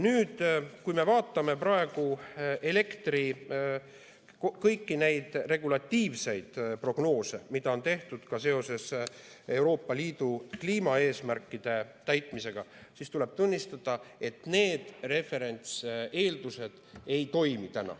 Kui me vaatame elektri kõiki regulatiivseid prognoose, mida on tehtud ka seoses Euroopa Liidu kliimaeesmärkide täitmisega, siis tuleb tunnistada, et need referentseeldused ei toimi.